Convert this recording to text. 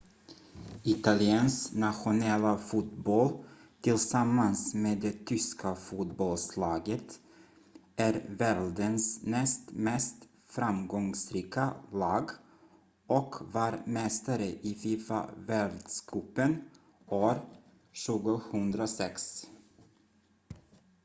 italiens nationella fotboll tillsammans med det tyska fotbollslaget är världens näst mest framgångsrika lag och var mästare i fifa-världscupen år 2006